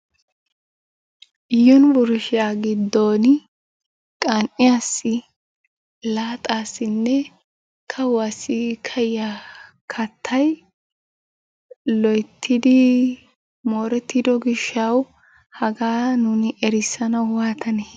Yunbburshshiya giddon qan"iyaassi, laaxassinne kaawuwassi kaa'iyaa kattaya loyttidi mooretido gishshawu hagaa nuuni erissanawu waattane?